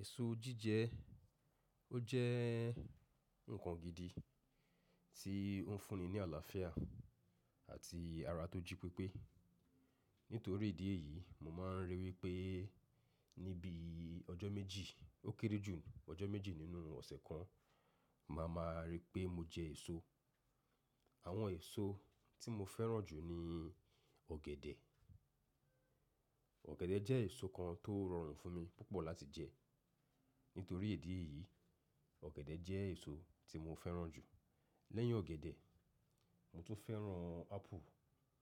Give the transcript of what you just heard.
Èso jíjẹ, ó jẹ́ nǹkan gidi tí oń fúnni ní àlàáfíà àti ara tó jí pépé. Nítorí ìdí èyí, mo máa ń ríi wípé níbi ọjọ́ méjì ó kéré jù ọjọ́ méjì nínú ọ̀sẹ̀ kan, màá ma rí pé mo jẹ èso. Àwọn èso tí mo fẹ́ràn jù ni ọ̀gẹ̀dẹ̀. Ọ̀gẹ̀dẹ̀ jẹ́ èso kan tó rọrùn fún mi púpọ̀ láti jẹ. Nítorí ìdí èyí, ọ̀gẹ̀dẹ̀ jẹ́ èso tí mo fẹ́ràn jù. Lẹ́yìn ọ̀gẹ̀dẹ̀, mo tún fẹ́ràn ápù